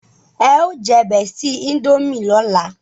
e o je bestie indomie lọla